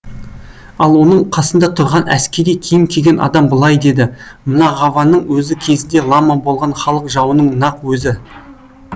ал оның қасында тұрған әскери киім киген адам былай деді мына ғаваның өзі кезінде лама болған халық жауының нақ өзі